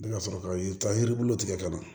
Ne ka sɔrɔ ka yiri bulu tigɛ ka na